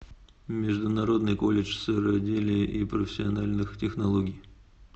международный колледж сыроделия и профессиональных технологий